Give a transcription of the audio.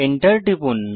Enter টিপুন